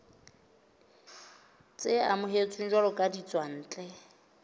tse amohetsweng jwalo ka ditswantle